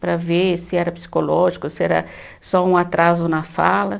Para ver se era psicológico, ou se era só um atraso na fala.